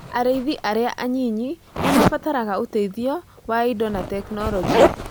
Arĩithi arĩa anyinyi nĩ mabataraga ũteithio wa indo na tekinolonjĩ.